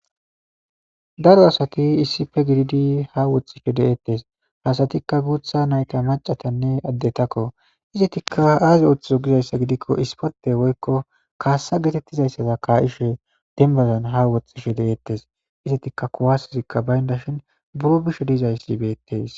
daro asati issife gididi ha woxxishe deeettes hasatikka guutha nayta macatanne addetakko izitikka aazi ooththizo gizayssa gidikko ispate woykko kaassa geetettizayssaza ka7ishe dembazan ha woxxishe de7eettes izitikka kuwasazikka baynda shin buro bisho diizayssi beettes